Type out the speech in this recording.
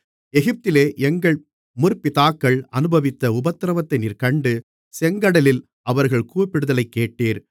எகிப்திலே எங்கள் முற்பிதாக்கள் அநுபவித்த உபத்திரவத்தை நீர் கண்டு செங்கடலில் அவர்கள் கூப்பிடுதலைக் கேட்டீர்